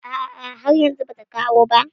Ah ah, har yanzu ba ta kawo ba